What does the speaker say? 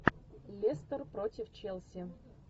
лестер против челси